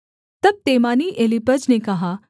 तब तेमानी एलीपज ने कहा